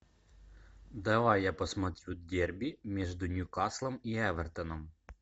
давай я посмотрю дерби между ньюкаслом и эвертоном